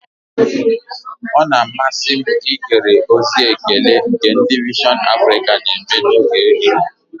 Ọ na-amasị m ihere ozi ekele nke ndị vision Africa na-eme n'oge ehihie